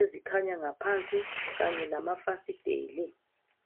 ezikhanya ngaphansi kanye lamafasiteli